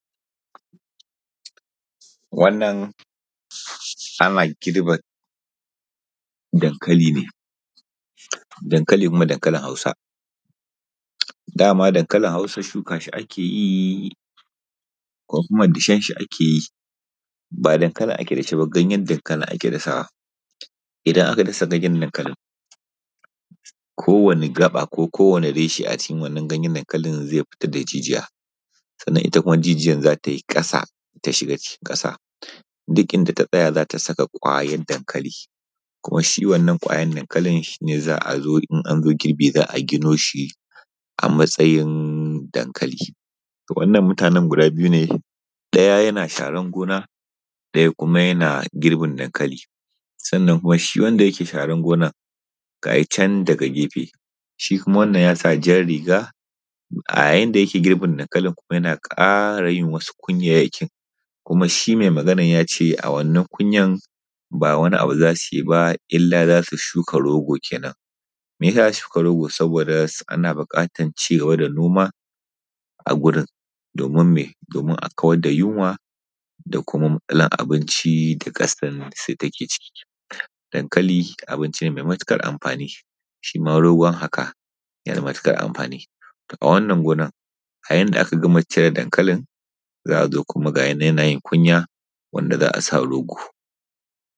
Wannan ana girban dankali ne, dankali kuma dankalin Hausa. Dama dankalin hausa shuka shi ake yi ko kuma dashenshi ake yi ba dankalin ake dashe ba ganyensa ake dasawa. Idana aka dasa ganyen dankalin ko wanne gaɓa ko kowani reshe a jikin wannan ganyen dankali zai fitar da jijiya sannan kuma ita jijiyan za ta yi ƙasa ta shiga cikin ƙasa duk inda ta tsaya za ta saka ƙwayar dankali. Kuma shi wannan ƙwayar dankalin shi ne za a zo idan an zo girbi za a gino shi a matsayin dankali. Wannan mutanen guda biyu ne, ɗaya yana sharan gona daya kuma yana girbin dankali. sannan kuma shi wanda yake sharar gonan ga shi can daga gefe shinkuma wannan ya sa jan riga a yanda yake girbin dankalin kuma yana ƙara yin wasu kunyayakin, kuma shi mai maganar ya ce, a wannan kunyan ba wani abu za su yi ba illa za su shuka rogo kenan. Meyasa za su shuka rogo saboda ana bukatar ci gaba da noma a gurin domin me, domin a kawar da yunwa da kuma matsalar abinci da ƙasar take ciki. Dankali abinci ne mai matuƙar amfani shi ma rogon haka yana da matukar amfani a wannan gonar a yanda aka gama cire dankalin za a ga kuma ga yinan yana yin kunya wanda za a sa rogo.